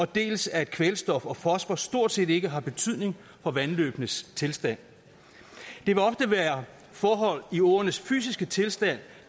dels at kvælstof og fosfor stort set ikke har betydning for vandløbenes tilstand det vil ofte være forhold i åernes fysiske tilstand